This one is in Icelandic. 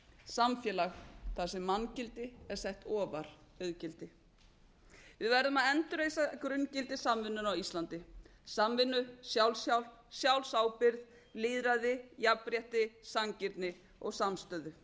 samfélag þar sem manngildi er sett ofar auðgildi við verðum að endurreisa grunngildi samvinnunnar á íslandi samvinnu sjálfshjálp sjálfsábyrgð lýðræði jafnrétti sanngirni og samstöðu